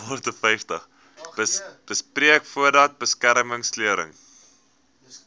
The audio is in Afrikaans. beperk voordat beskermingsklere